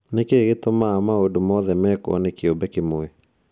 "Nĩ kĩĩ gĩtũmaga maũndũ mothe mekwo nĩ kĩũmbe kĩmwe?